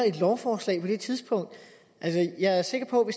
et lovforslag på det tidspunkt jeg er sikker på